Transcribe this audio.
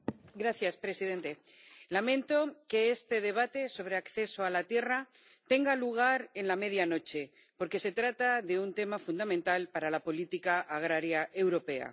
Señor presidente, lamento que este debate sobre el acceso a la tierra tenga lugar en la medianoche, porque se trata de un tema fundamental para la política agraria europea.